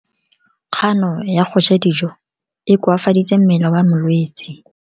Kgano ya go ja dijo e koafaditse mmele wa molwetse.